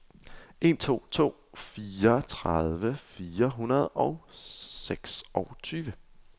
en to to fire tredive fire hundrede og seksogtyve